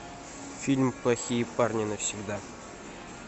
фильм плохие парни навсегда